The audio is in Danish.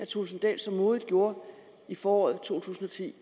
thulesen dahl så modigt gjorde i foråret to tusind og ti